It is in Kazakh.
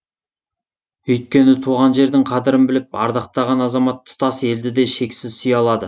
өйкені туған жердің қадірін біліп ардақтаған азамат тұтас елді де шексіз сүйе алады